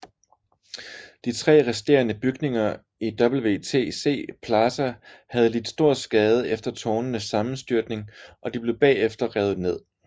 De tre resterende bygninger i WTC Plaza havde lidt stor skade efter tårnenes sammenstyrtning og de blev bagefter revet ned